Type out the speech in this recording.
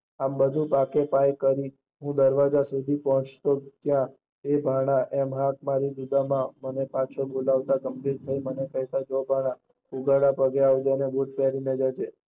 આમ બધું પાકે પાયે કરી હું દરવાજા સુધી પોચ્તા ત્યાં એ ભાન પીછો બોલાવો ગંભીર થઇ મને કહીંયુ ઉઘાડા પગે ના જૈસ બુટ પેરી ને આવજે